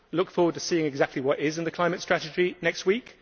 I look forward to seeing exactly what is in the climate strategy next week.